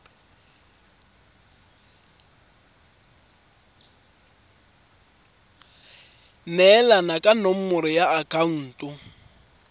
neelana ka nomoro ya akhaonto